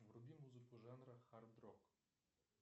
вруби музыку жанра хард рок